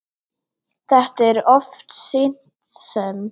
Þetta er oft sýnt sem